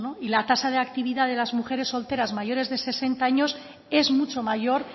y la tasa de actividad de las mujeres solteras mayores de sesenta años es mucho mayor